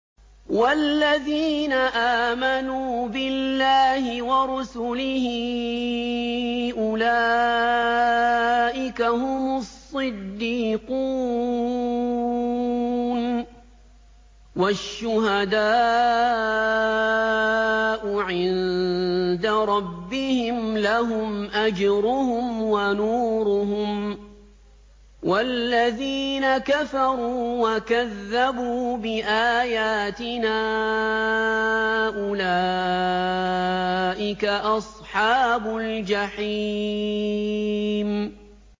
وَالَّذِينَ آمَنُوا بِاللَّهِ وَرُسُلِهِ أُولَٰئِكَ هُمُ الصِّدِّيقُونَ ۖ وَالشُّهَدَاءُ عِندَ رَبِّهِمْ لَهُمْ أَجْرُهُمْ وَنُورُهُمْ ۖ وَالَّذِينَ كَفَرُوا وَكَذَّبُوا بِآيَاتِنَا أُولَٰئِكَ أَصْحَابُ الْجَحِيمِ